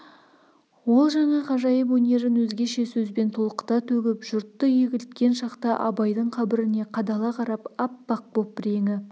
ол жаңа ғажайып өнерін өзгеше сөзбен толқыта төгіп жұртты егілткен шақта абайдың қабіріне қадала қарап аппақ боп реңі